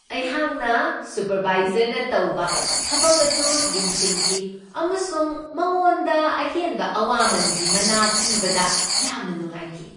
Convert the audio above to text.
ꯑꯩꯍꯥꯛꯅ ꯁꯨꯄꯔꯕꯥꯏꯖꯔꯅ ꯇꯧꯕ ꯊꯕꯛ ꯑꯗꯨ ꯌꯦꯡꯁꯤꯟꯈꯤ ꯑꯃꯁꯨꯡ ꯃꯥꯉꯣꯟꯗ ꯑꯍꯦꯟꯕ ꯑꯋꯥꯃꯟꯒꯤ ꯃꯅꯥ ꯄꯤꯕꯗ ꯌꯥꯝꯅ ꯅꯨꯡꯉꯥꯏꯈꯤ ꯫